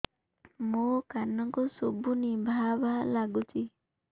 ମୋ କାନକୁ ଶୁଭୁନି ଭା ଭା ଲାଗୁଚି